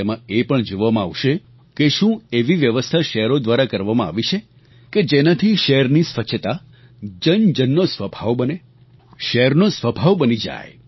તેમાં એ પણ જોવામાં આવશે કે શું એવી વ્યવસ્થા શહેરો દ્વારા કરવામાં આવી છે કે જેનાથી શહેરની સ્વચ્છતા જનજનનો સ્વભાવ બને શહેરનો સ્વભાવ બની જાય